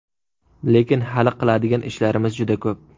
Lekin hali qiladigan ishlarimiz juda ko‘p.